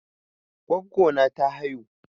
Goggo na ta haihu.